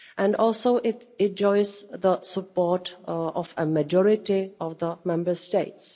It also enjoys the support of a majority of the Member States.